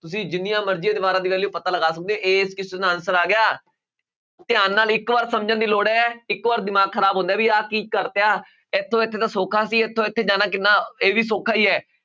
ਤੁਸੀਂ ਜਿੰਨੀਆਂ ਮਰਜ਼ੀ ਦੀਵਾਰਾਂ ਦੀ value ਪਤਾ ਲਗਾ ਸਕਦੇ ਹੋ ਕਿਸੇ ਦਾ answer ਆ ਗਿਆ, ਧਿਆਨ ਨਾਲ ਇੱਕ ਵਾਰ ਸਮਝਣ ਦੀ ਲੋੜ ਹੈ ਇੱਕ ਵਾਰ ਦਿਮਾਗ ਖ਼ਰਾਬ ਹੁੰਦਾ ਹੈ ਵੀ ਆਹ ਕੀ ਕਰ ਦਿੱਤਾ, ਇੱਥੋਂ ਇੱਥੇ ਤਾਂ ਸੌਖਾ ਸੀ ਇੱਥੋਂ ਇੱਥੇ ਜਾਣਾ ਕਿੰਨਾ ਇਹ ਵੀ ਸੌਖਾ ਹੀ ਹੈ